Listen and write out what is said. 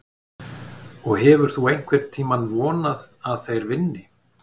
Og hefur þú einhvern tímann vonað að þeir vinni?